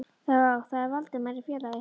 Þá er það Valdimar félagi ykkar.